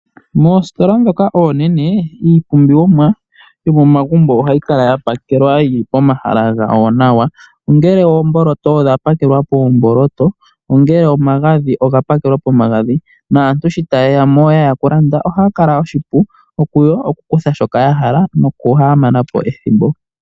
Moositola ndhoka oonene, iipumbiwa yomomagumbo ohayi kala ya pakelwa yi li pomahala gawo nawa, ongele oomboloto odha pakelwa poomboloto, omagadhi oga pakelwa pomagadhi naantu shi taye ya mo taye ya okulanda ohashi kala she ya ningila oshipu kuyo okukutha shoka ya hala noku ha mana po ethimbo.